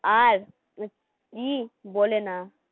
আর কি বলে না